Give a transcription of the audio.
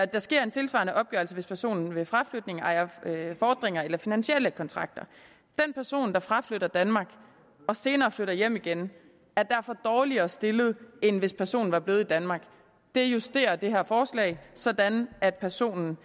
der sker en tilsvarende opgørelse hvis personen ved fraflytning ejer fordringer eller finansielle kontrakter den person der fraflytter danmark og senere flytter hjem igen er derfor dårligere stillet end hvis personen var blevet i danmark det justerer det her forslag sådan at personen